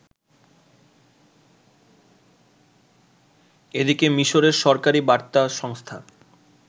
এদিকে মিশরের সরকারী বার্তা সংস্থা